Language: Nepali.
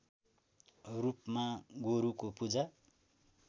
रूपमा गोरुको पूजा